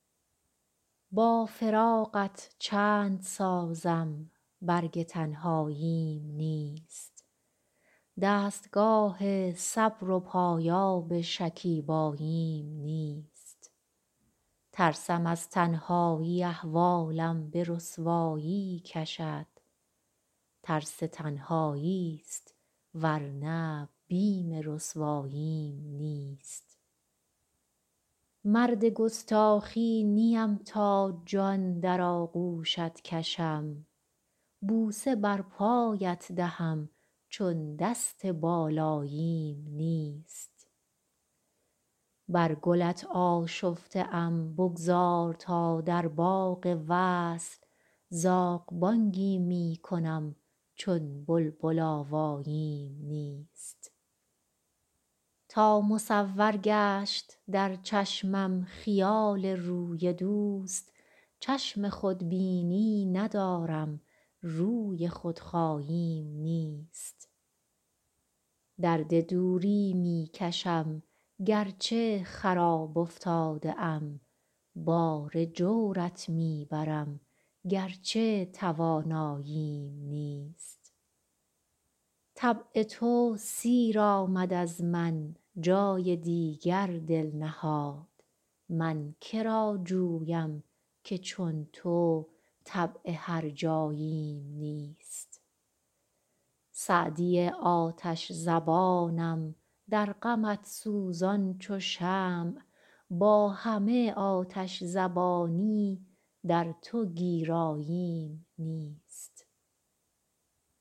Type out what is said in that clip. با فراقت چند سازم برگ تنهاییم نیست دستگاه صبر و پایاب شکیباییم نیست ترسم از تنهایی احوالم به رسوایی کشد ترس تنهایی ست ور نه بیم رسواییم نیست مرد گستاخی نیم تا جان در آغوشت کشم بوسه بر پایت دهم چون دست بالاییم نیست بر گلت آشفته ام بگذار تا در باغ وصل زاغ بانگی می کنم چون بلبل آواییم نیست تا مصور گشت در چشمم خیال روی دوست چشم خودبینی ندارم روی خودراییم نیست درد دوری می کشم گر چه خراب افتاده ام بار جورت می برم گر چه تواناییم نیست طبع تو سیر آمد از من جای دیگر دل نهاد من که را جویم که چون تو طبع هرجاییم نیست سعدی آتش زبانم در غمت سوزان چو شمع با همه آتش زبانی در تو گیراییم نیست